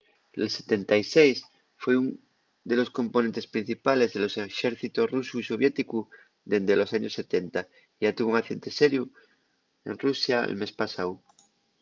l’il-76 foi ún de los componentes principales de los exércitos rusu y soviéticu dende los años 70 y yá tuvo un accidente seriu en rusia'l mes pasáu